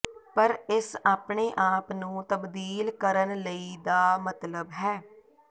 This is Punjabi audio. ਪਰ ਇਸ ਆਪਣੇ ਆਪ ਨੂੰ ਤਬਦੀਲ ਕਰਨ ਲਈ ਦਾ ਮਤਲਬ ਹੈ